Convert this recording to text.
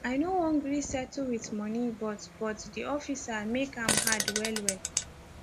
i no wan gree settle wit moni but but di officer make am hard well well